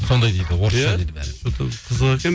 сондай дейді орысша дейді бәрі что то қызық екен